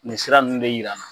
Nin sira nunnu de yira n na